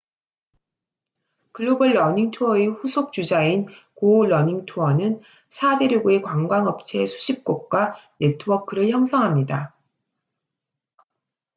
글로벌 러닝 투어의 후속 주자인 고 런닝 투어는 4대륙의 관광 업체 수십 곳과 네트워크를 형성합니다